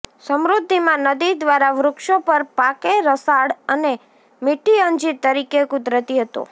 સમૃદ્ધિમાં નદી દ્વારા વૃક્ષો પર પાકે રસાળ અને મીઠી અંજીર તરીકે કુદરતી હતો